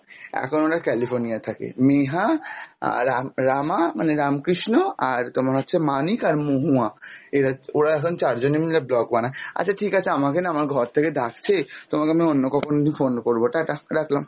এখন ওরা California য় থাকে। নেহা আর রাম~ রামা মানে রামকৃষ্ণ আর তোমার হচ্ছে মানিক আর মহুয়া, এরা ওরা এখন চারজনে মিলে blog বানায় । আচ্ছা ঠিক আছে আমাকে না আমার ঘর থেকে ডাকছে, তোমাকে না আমি অন্য কখনো phone করবো, ta-ta রাখলাম।